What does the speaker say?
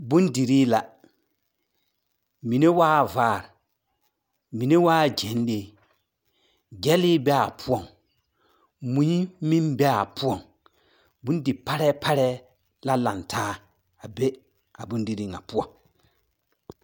Bondirii la. Mine waa vaare. Mine waa gyɛnlee. Gyɛlee bee a poɔŋ. Mui meŋ bee a poɔŋ. Bondi-parɛɛ parɛɛ la lantaa a be bondirii ŋa poɔ.